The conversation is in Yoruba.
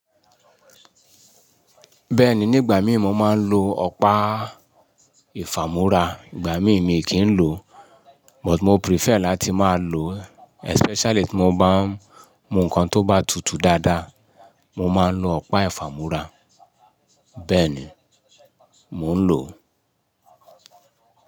Bẹ́ẹ̀ni, nígbà mìí mo máa ń lo ọ̀pá. Yi ìfàmú́ra, ìgbà mìíràn mi kì í lò, but mo prefer láti máa lò, especially tí mo bá ń mu nǹkan tó bá tutù dáadáa, mo máa ń lo ọ̀pá ìfàmú́ra. Bẹ́ẹ̀ni, mò ń lò ó.